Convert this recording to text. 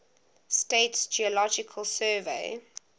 states geological survey